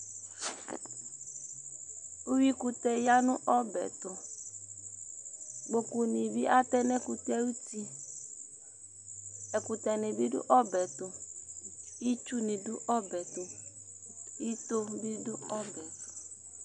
Uyuikʋtɛ ya nʋ ɔbɛ yɛ tʋ Kpokunɩ bɩ atɛ nʋ ɛkʋtɛ yɛ ayuti Ɛkʋtɛnɩ bɩ dʋ ɔbɛ yɛ tʋ Itsunɩ dʋ ɔbɛ yɛ tʋ Ito bɩ dʋ ɔbɛ yɛ tʋ